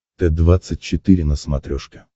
т двадцать четыре на смотрешке